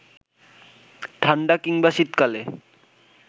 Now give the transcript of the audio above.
ঠাণ্ডা কিংবা শীতকালে